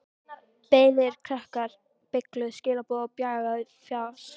Beygðir krakkar, beygluð skilaboð og bjagað fas.